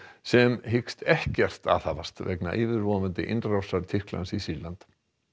sem hyggst ekkert aðhafast vegna yfirvofandi innrásar Tyrklands í Sýrland